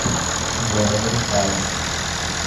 джой разрешаю